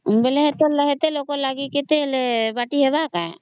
ବେଲେ ଏତେ ଲୋକ ଲାଗି କେତେ ହେଲେ ବାଟି ହେବ କା ?